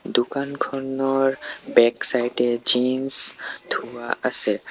দোকানখনৰ বেক চাইদে জিনচ থোৱা আছে।